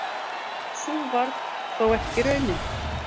Sú varð þó ekki raunin.